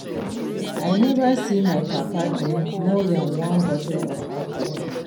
I never see my papa drink more dan one bottle of alcohol